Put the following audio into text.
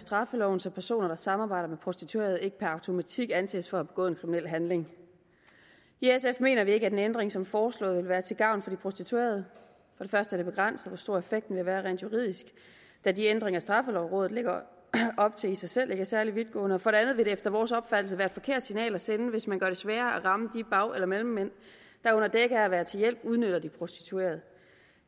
straffeloven så personer der samarbejder med prostituerede ikke per automatik anses for at have begået en kriminel handling i sf mener vi ikke at en ændring som den foreslåede vil være til gavn for de prostituerede for det første er det begrænset hvor stor effekten vil være rent juridisk da de ændringer straffelovrådet lægger op til i sig selv ikke er særlig vidtgående for det andet vil det efter vores opfattelse være et forkert signal at sende hvis man gør det sværere at ramme bag eller mellemmænd der under dække af være til hjælp udnytter de prostituerede